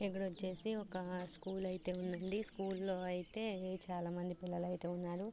ఇక్కడ వచ్చేసి ఒక స్కూల్ అయితే ఉందండి. స్కూల్ లో అయితే చాలామంది పిల్లలయితే ఉన్నారు.